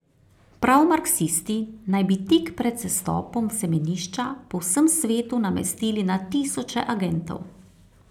Prav marksisti naj bi tik pred sestopom v semenišča po vsem svetu namestili na tisoče agentov.